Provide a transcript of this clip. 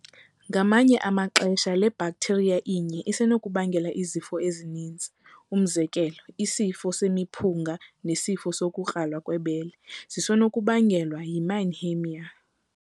Ngamanye amaxesha, le bhakhtheriaya inye isenokubangela izifo ezininzi umzékelo, isifo semiphunga nesifo sokukrala kwebele zisenokuba ngelwa yiMannheimia.